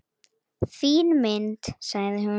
Fín mynd, sagði hún.